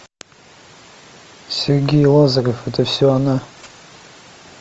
сергей лазарев это все она